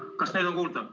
Kas nüüd on kuulda?